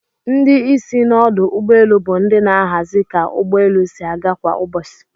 Ndi isi n'odụ ugbọ elụ bu ndi n'ahazi ka ugbọ elụ si aga kwa ubosi.